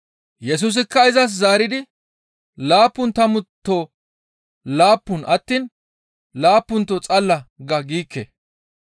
Yesusikka izas zaaridi, «Laappun tammuto laappun attiin laappunto xalla ga giikke;